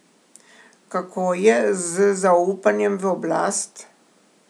Kako je z zaupanjem v oblast?